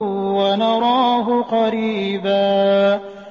وَنَرَاهُ قَرِيبًا